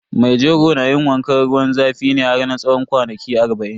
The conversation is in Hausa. Mai jego na yin wankan ruwan zafi ne har na tsawon kwanaki arba'in.